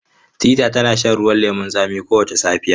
Teetea tana shan ruwan lemun tsami kowace safiya.